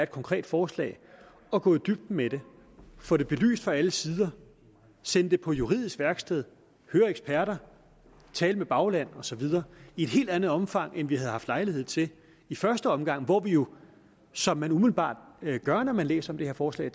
konkret forslag at gå i dybden med det få det belyst fra alle sider sende det på juridisk værksted høre eksperter tale med bagland og så videre i et helt andet omfang end vi havde haft lejlighed til i første omgang hvor vi jo som man umiddelbart gør når man læser det her forslag